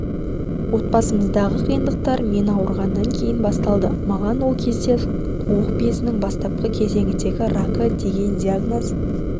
отбасымыздағы қиындықтар мен ауырғаннан кейін басталды маған ол кезде қуық безінің бастапқы кезеңдегі рагы деген диагноз